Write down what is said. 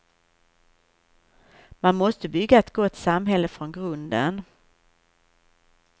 Man måste bygga ett gott samhälle från grunden.